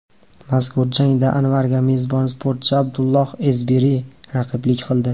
Mazkur jangda Anvarga mezbon sportchi Abdullah Ezbiri raqiblik qildi.